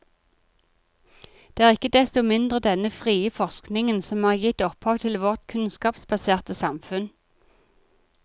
Det er ikke desto mindre denne frie forskningen som har gitt opphav til vårt kunnskapsbaserte samfunn.